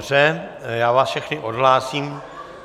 Dobře, já vás všechny odhlásím.